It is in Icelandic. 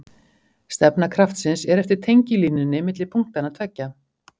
Stefna kraftsins er eftir tengilínunni milli punktanna tveggja.